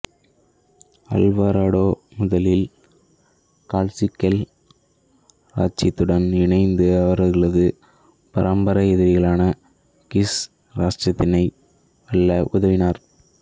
Alvarado முதலில் Kaqchikel இராச்சியத்துடன் இணைந்து அவர்களது பரம்பரை எதிரிகளான கிஷ் இராச்சியத்தை வெல்ல உதவினார்